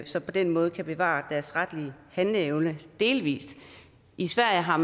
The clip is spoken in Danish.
så på den måde kan bevare deres retlige handleevne delvis i sverige har